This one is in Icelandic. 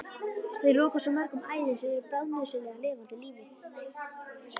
Þeir loka svo mörgum æðum sem eru bráðnauðsynlegar lifandi lífi.